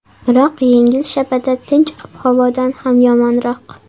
Biroq yengil shabada tinch ob-havodan ham yomonroq.